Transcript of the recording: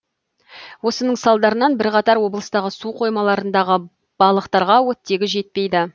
осының салдарынан бірақатар облыстағы су қоймаларындағы балықтарға оттегі жетпейді